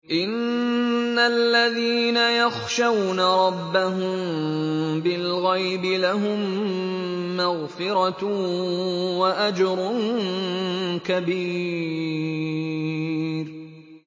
إِنَّ الَّذِينَ يَخْشَوْنَ رَبَّهُم بِالْغَيْبِ لَهُم مَّغْفِرَةٌ وَأَجْرٌ كَبِيرٌ